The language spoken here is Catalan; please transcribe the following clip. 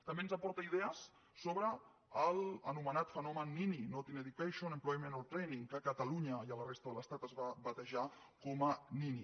també ens aporta idees sobre l’anomenat fenomen nini not in education employement or training que a catalunya i a la resta de l’estat es va batejar com a nini